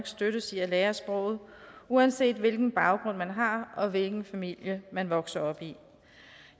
støttes i at lære sproget uanset hvilken baggrund man har og hvilken familie man vokser op i